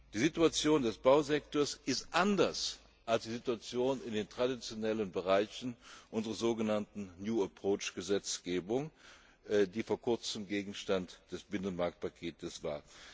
Die Situation des Bausektors ist anders als die der traditionellen Bereiche unserer sogenannten New Approach Gesetzgebung, die vor kurzem Gegenstand des Binnenmarktpaketes war.